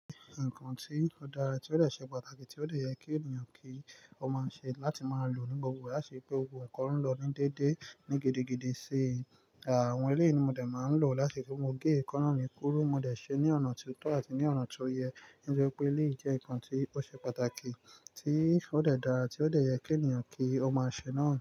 Nkan tí ó dára tí ó dè ṣe pàtàkì tí ó dè yẹ kí ènìyàn kí ó máa ṣe láti máa lò ní gbogbo ìgbà lati ri pé gbogbo ẹ̀kọ́ ń lọ ní déédé ní gidigidi sí i. Àwọn eleyii ni mo dẹ̀ máa ń lò láti ri pe mo gé ẹ̀kan náà mi kúru. Mo dẹ̀ ṣe é ní ọ̀nà tó tọ́ àti ní ọ̀nà tó yẹ. To jẹ́ pé eleyii jẹ́ nǹkan tí ó ṣe pàtàkì tí ó dẹ̀ dára tí ó dẹ̀ yẹ kí ènìyàn kí ó máa ṣe náà.